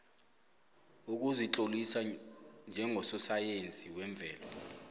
kukuzitlolisa njengososayensi wemvelo